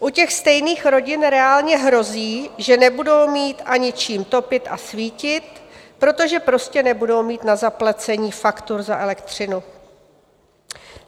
U těch stejných rodin reálně hrozí, že nebudou mít ani čím topit a svítit, protože prostě nebudou mít na zaplacení faktur za elektřinu.